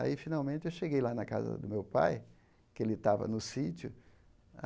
Aí, finalmente, eu cheguei lá na casa do meu pai, que ele estava no sítio.